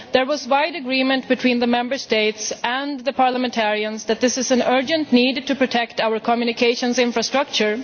There was wide agreement between the Member States and MEPs that there is an urgent need to protect our communications infrastructure.